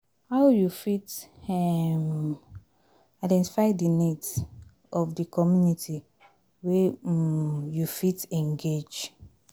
how you fit um identify di needs of di community wey um you fit engage?